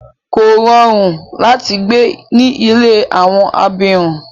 Kò rọrùn láti gbé ní ilé àwọn abirùn.